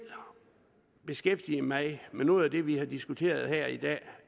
beskæftige mig med noget af det vi har diskuteret her i dag